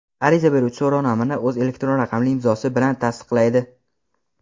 Ariza beruvchi so‘rovnomani o‘z elektron raqamli imzosi bilan tasdiqlaydi.